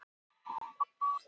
Heimsstyrjöldin síðari hófst.